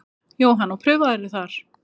Jóhann: Og prufaðirðu þar?